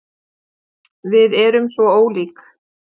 Við erum svo ólík.